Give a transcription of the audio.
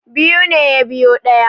Biyu ne ya biyo ɗaya